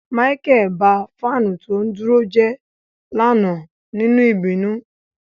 Micheal ba fanu to duro je lana ninu ibinu.